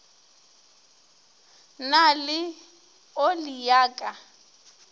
na le oli ya ka